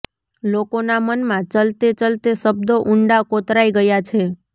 લોકોનાં મનમાં ચલતે ચલતે શબ્દો ઊંડા કોતરાઈ ગયા છે